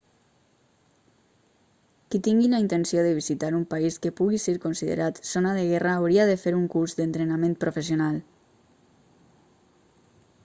qui tingui la intenció de visitar un país que pugui ser considerat zona de guerra hauria de fer un curs d'entrenament professional